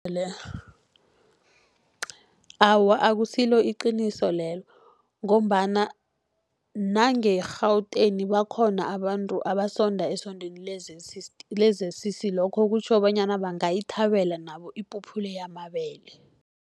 Awa, akusilo iqiniso lelo, ngombana nangeGauteng bakhona abantu abasonda esondweni le-Z_C_C. Lokho kutjho bonyana bangayithabela nabo ipuphu le yamabele.